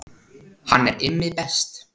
Hann er Immi best